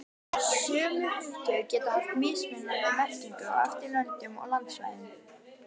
Sömu hugtök geta haft mismunandi merkingu eftir löndum og landsvæðum.